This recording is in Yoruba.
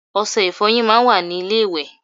Ose ìfoyín máa n wa ní ilé ìwè